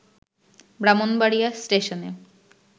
ব্রাহ্মণবাড়িয়া স্টেশনে